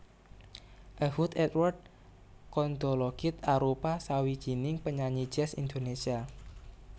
Ehud Edward Kondologit arupa sawijining penyanyi jazz Indonésia